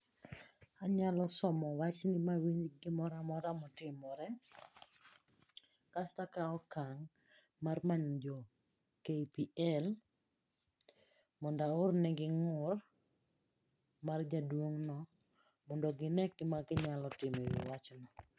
Anyalo somo wachni mawinj gimoroamora motimore kasto akawo okang' mar manyo jo KPL mondaornegi ng'ur mar jaduong'no mondo gine gimaginyalo timo e wi wachno.